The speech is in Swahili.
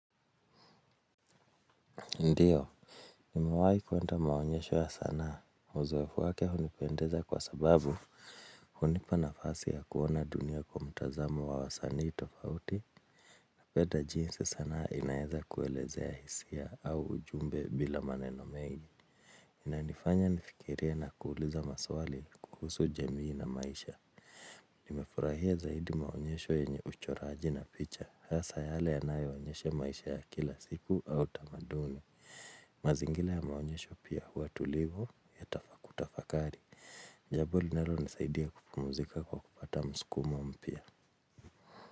Ndio, niwahi kuwenda maonyesho ya sanaa, uzoefu wake hunipendeza kwa sababu hunipa nafasi ya kuona dunia kwa mtazamo wa wasanii tofauti. Pata jinsi sanaa inaeza kuelezea hisia au ujumbe bila maneno mengi. Inanifanya nifikirie na kuuliza maswali kuhusu jamii na maisha. Nimefurahia zaidi maonyesho yenye uchoraji na picha. Hasa yale yanayo onyeshe maisha ya kila siku au tamaduni. Mazingira ya maonyesho pia huwa tulivu ya kutafakari. Jambo linalonisaidia kupumuzika kwa kupata muskumo mpia.